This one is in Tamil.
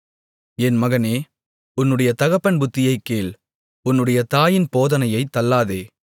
என் மகனே உன்னுடைய தகப்பன் புத்தியைக் கேள் உன்னுடைய தாயின் போதனையைத் தள்ளாதே